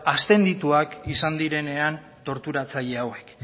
aszendituak izan direnean torturatzaile hauek